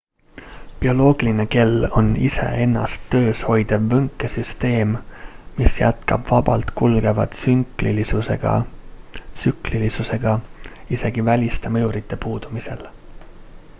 bioloogiline kell on ise ennast töös hoidev võnkesüsteem mis jätkab vabalt kulgeva tsüklilisusega isegi väliste mõjurite puudumisel